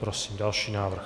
Prosím další návrh.